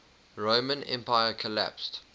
roman empire collapsed